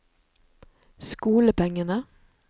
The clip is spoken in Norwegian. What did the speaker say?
skolepengene